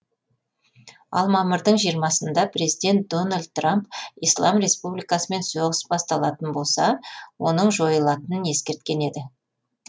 ал мамырдың жиырмасында президент дональд трамп ислам республикасымен соғыс басталатын болса оның жойылатынын ескерткен еді